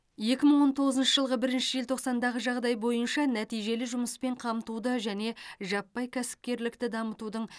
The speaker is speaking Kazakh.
екі мың он тоғызыншы жылғы бірінші желтоқсандағы жағдай бойынша нәтижелі жұмыспен қамтуды және жаппай кәсіпкерлікті дамытудың